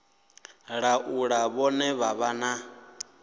laula vhane vha vha na